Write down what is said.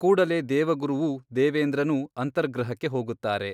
ಕೂಡಲೇ ದೇವಗುರುವೂ ದೇವೇಂದ್ರನೂ ಅಂತರ್ಗೃಹಕ್ಕೆ ಹೋಗುತ್ತಾರೆ.